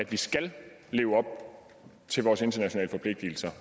vi skal leve op til vores internationale forpligtelser